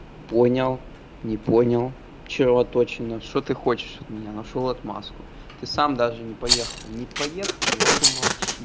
понял не понял червоточина что ты хочешь от меня нашёл отмазку ты сам даже не поехал не поехал вот и молчи